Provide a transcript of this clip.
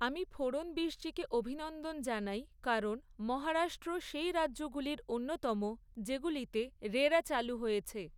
আমি ফড়নবিশজিকে অভিনন্দন জানাই, কারণ, মহারাষ্ট্র সেই রাজ্যগুলির অন্যতম, যেগুলিতে রেরা চালু হয়েছে।